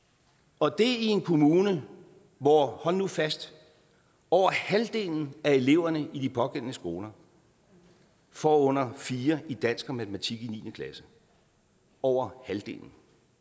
og det er i en kommune hvor hold nu fast over halvdelen af eleverne i de pågældende skoler får under fire i dansk og matematik i niende klasse over halvdelen